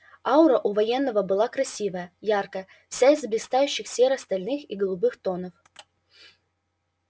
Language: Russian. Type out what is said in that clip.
аура у военного была красивая яркая вся из блистающих серо-стальных и голубых тонов